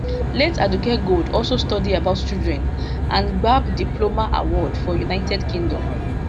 late aduke gold also study about children and gbab diploma award for united kingdom